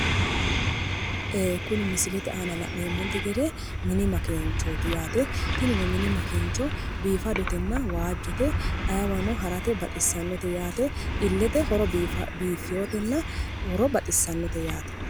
Ee kuni misilete aana la'neemmonte gede mini makeenchooti yaate. tiinino mini makeencho biifadotenna waajjote. ayiiwano harate baxissannote yaate illete horo biiffeyootenna horo baxissannote yaate.